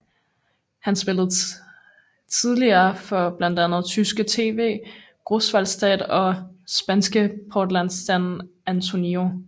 Han spillede tidligere for blandt andet tyske TV Großwallstadt og spanske Portland San Antonio